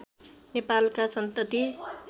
नेपालका सन्तति